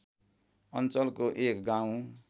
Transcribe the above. अञ्चलको एक गाउँ